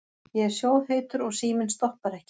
Ég er sjóðheitur og síminn stoppar ekki.